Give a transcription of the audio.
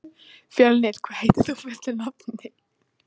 Fjölnir, hvað heitir þú fullu nafni?